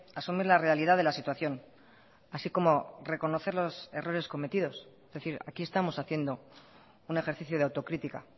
asumir la realidad de la situación así como reconocer los errores cometidos es decir aquí estamos haciendo un ejercicio de autocrítica